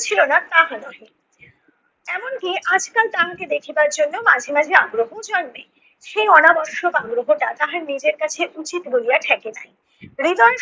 ছিল না তাহা নহে। এমনকি আজকাল তাহাকে দেখিবার জন্য মাঝে মাঝে আগ্রহও জন্মে, সেই অনাবশ্যক আগ্রহটা তাহার নিজের কাছে উচিত বলিয়া ঠেকে নাই। হৃদয়ের